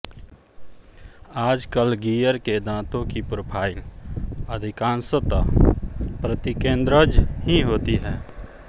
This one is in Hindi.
आजकल गीयर के दाँतों की प्रोफाइल अधिकांशतः प्रतिकेन्द्रज ही होती है